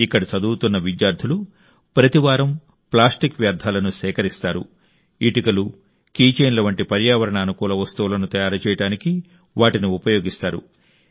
ఇక్కడ చదువుతున్న విద్యార్థులు ప్రతి వారం ప్లాస్టిక్ వ్యర్థాలను సేకరిస్తారు ఇటుకలు కీ చైన్ల వంటి పర్యావరణ అనుకూల వస్తువులను తయారు చేయడానికి వాటిని ఉపయోగిస్తారు